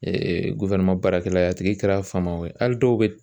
baarakɛla ye a tigi kɛra famaw ye hali dɔw be